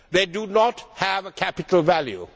They do not have a capital value.